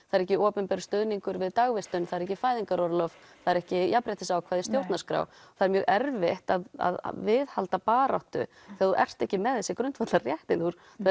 það er ekki opinber stuðningur við dagvistun það er ekki fæðingarorlof það er ekki jafnréttisákvæði í stjórnarskrá það er mjög erfitt að viðhalda baráttu þegar þú ert ekki með þessi grundvallarréttindi